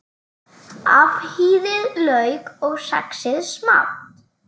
Afhýðið lauk og saxið smátt.